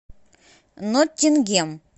ноттингем